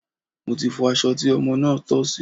Mo ti fọ aṣọ tí ọmọ náà tọ̀ sí.